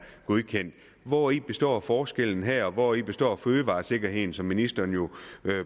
godkendt hvori består forskellen her hvori består fødevaresikkerheden som ministeren jo